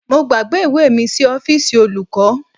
Mo gbàgbé ìwé mi sí ọ́fíìsì olùkọ́